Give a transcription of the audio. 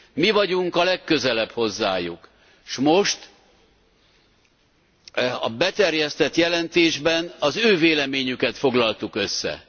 Mi vagyunk a legközelebb hozzájuk, és most a beterjesztett jelentésben az ő véleményüket foglaltuk össze.